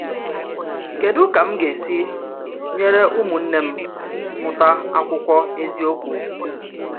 Kedu ka m ga-esi nyere ụmụnne m mụta akwụkwọ eziokwu?